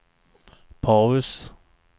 paus